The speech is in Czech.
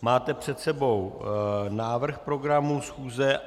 Máte před sebou návrh programu schůze.